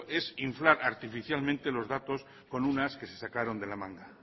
es inflar artificialmente los datos con un as que se sacaron de la manga